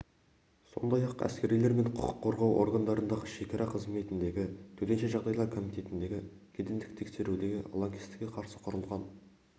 сондай-ақ әскерилер мен құқық қорғау органдарындағы шекара қызметіндегі төтенше жағдайлар комитетіндегі кедендік тексерудегі лаңкестікке қарсы құрылған